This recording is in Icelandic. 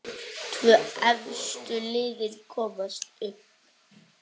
Tvö efstu liðin komast upp.